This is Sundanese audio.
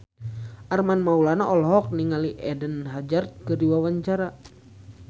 Armand Maulana olohok ningali Eden Hazard keur diwawancara